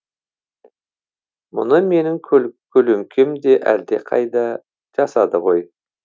мұны менің көлеңкем де әлдеқайда жасады ғой